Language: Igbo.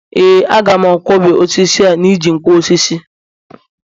yes, I can cut the wood with a nkwo osisi